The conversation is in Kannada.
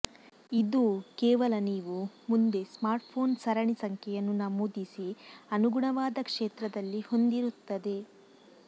ಇದು ಕೇವಲ ನೀವು ಮುಂದೆ ಸ್ಮಾರ್ಟ್ಫೋನ್ ಸರಣಿ ಸಂಖ್ಯೆಯನ್ನು ನಮೂದಿಸಿ ಅನುಗುಣವಾದ ಕ್ಷೇತ್ರದಲ್ಲಿ ಹೊಂದಿರುತ್ತದೆ